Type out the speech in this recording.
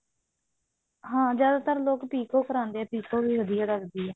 ਹਾਂ ਜਿਆਦਾਤਰ ਲੋਕ ਪਿਕੋ ਕਰਾਉਂਦੇ ਨੇ ਪਿਕੋ ਵਧੀਆ ਲੱਗਦੀ ਹਾ